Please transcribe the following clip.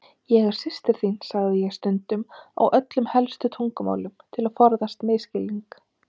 Ég er systir þín, sagði ég stundum á öllum helstu tungumálum, til að forðast misskilning.